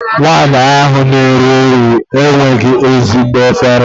Nwaanyị ahụ na-ere nri enweghị ezigbo efere.